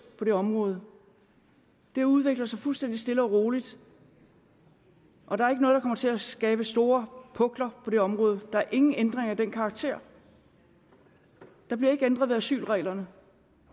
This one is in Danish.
på det område det udvikler sig fuldstændig stille og roligt og der er ikke noget der kommer til at skabe store pukler på det område der er ingen ændringer af den karakter der bliver ikke ændret ved asylreglerne